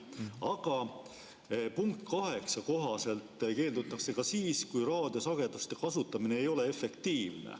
Aga punkti 8 kohaselt keeldutakse ka siis, kui raadiosageduste kasutamine ei ole efektiivne.